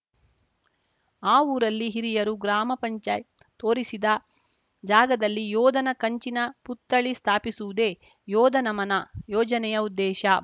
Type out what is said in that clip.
ಆ ಊರಲ್ಲಿ ಹಿರಿಯರು ಗ್ರಾಮ ಪಂಚಾಯತ್ ತೋರಿಸಿದ ಜಾಗದಲ್ಲಿ ಯೋಧನ ಕಂಚಿನ ಪುತ್ಥಳಿ ಸ್ಥಾಪಿಸುವುದೇ ಯೋಧ ನಮನ ಯೋಜನೆಯ ಉದ್ದೇಶ